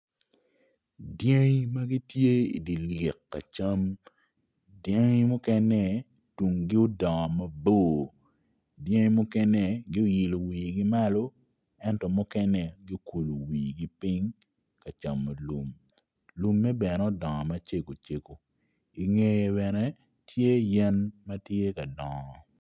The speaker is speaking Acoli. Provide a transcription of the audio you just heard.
Dyangi magi tye idye lik ka cam dyangi mukene tungi odongo mabor dyangi mukene gioilo wigi malo ento mukene giokulo wigi piny ka camo lum lumme bene odongo macego cego ingeye bene tye yadi matye ka dongo.